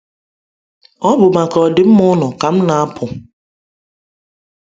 Ọ bụ maka ọdịmma unu ka m na-apụ.